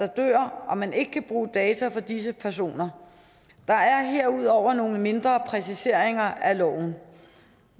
dør og man ikke kan bruge data fra disse personer der er herudover nogle mindre præciseringer af loven